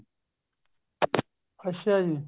ਅੱਛਾ ਜੀ